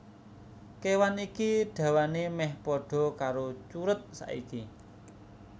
Kéwan iki dawané mèh padha karo curut saiki